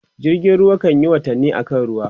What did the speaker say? jirgin ruwa kanyi watanni a kan ruwa